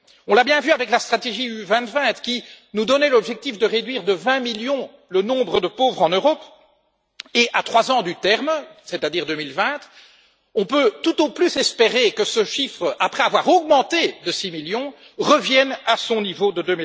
On l'a bien vu avec la stratégie UE 2020 qui nous donnait l'objectif de réduire de 20 millions le nombre de pauvres en Europe et, à trois ans du terme, c'est à dire 2020, on peut tout au plus espérer que ce chiffre, après avoir augmenté de 6 millions, revienne à son niveau de